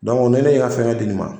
ni ne ye n ka fɛnkɛ di nin ma